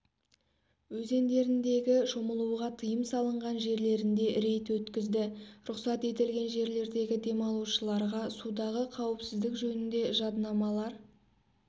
өзендеріндегі шомылуға тыйым салынған жерлеріне рейд өткізді рұқсат етілген жерлердегі демалушыларға судағы қауіпсіздік жөнінде жаднамалар